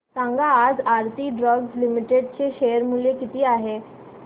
सांगा आज Aarti drugs limited चे शेअर मूल्य किती आहे